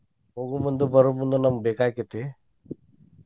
ಹೋಗುಮುಂದು ಬರೋಮುಂದು ನಮ್ಗ್ ಬೇಕಾಕ್ಕೇತಿ.